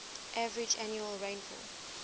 average annual rainfall